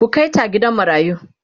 ku Kai ta gidan marayu!